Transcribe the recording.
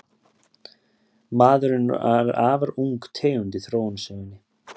Maðurinn er afar ung tegund í þróunarsögunni.